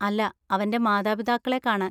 അല്ല, അവന്‍റെ മാതാപിതാക്കളെ കാണാൻ.